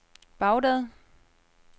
Baghdad